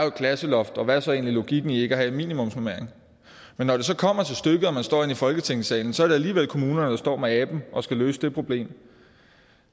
et klasseloft og hvad er så egentlig logikken i ikke at have en minimumsnormering men når det kommer til stykket og man står inde i folketingssalen er det alligevel kommunerne der står med aben og skal løse det problem